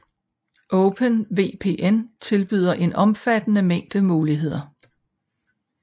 OpenVPN tilbyder en omfattende mængde muligheder